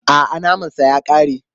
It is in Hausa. A'a, naman sa ya ƙare.